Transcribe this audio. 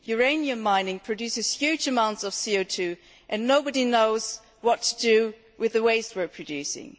Uranium mining produces huge amounts of CO 2 and nobody knows what to do with the waste we are producing.